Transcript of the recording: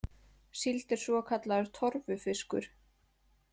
Síld er svokallaður torfufiskur.